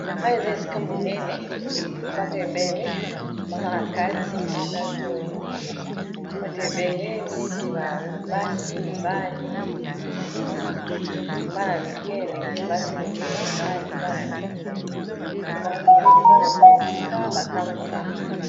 Oyo eza esika monene bato ebele baza na kati bato ebele neti babasi mibali bana y mike elenge basi elenge mibali bana y mike moya seza lopo na esika batambolaka.